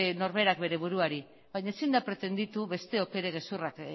norberak bere buruari baina ezin da pretenditu besteok ere gezurrak